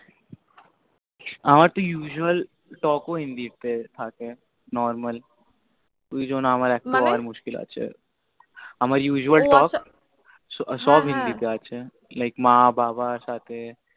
আমার তো usually Talk ও Hindi তে থাকে, normal ওজন্য আমার একটু হওয়া মুশকিল আছে মানে আমার usual Talk ও আছা সব Hindi তে আছে হ্য়াঁ হ্য়াঁ like মা বাবা সাথে